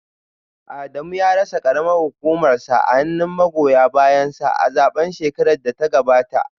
Adamu ya rasa karamar hukumarsa a hannun magoya bayansa a zaben shekarar da ta gabata